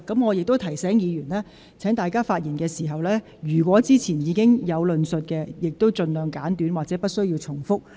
我亦提醒議員，在發言時，若有關論點先前已有論述，請盡量簡短說明及不要重複。